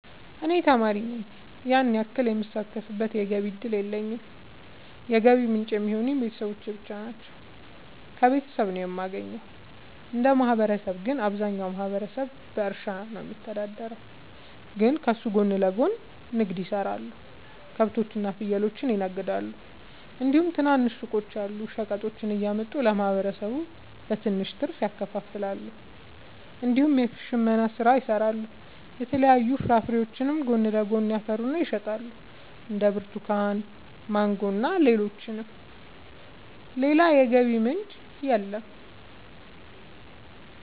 እኔ ተማሪ ነኝ ያን ያክል የምሳተፍበት የገቢ እድል የለኝም የገቢ ምንጭ የሚሆኑኝ ቤተሰብ ብቻ ነው። ከቤተሰብ ነው የማገኘው። እንደ ማህበረሰብ ግን አብዛኛው ማህበረሰብ በእርሻ ነው የሚተዳደር ግን ከሱ ጎን ለጎን ንግድ የሰራሉ ከብቶች እና ፍየሎችን ይነግዳሉ እንዲሁም ትናንሽ ሱቆች አሉ። ሸቀጦችን እያመጡ ለማህበረሰቡ በትንሽ ትርፍ ያከፋፍላሉ። እንዲሁም የሽመና ስራ ይሰራሉ የተለያዩ ፍራፍሬዎችንም ጎን ለጎን ያፈሩና ይሸጣሉ እንደ ብርቱካን ማንጎ እና ሌሎችም። ሌላ የገቢ ምንጭ የለም።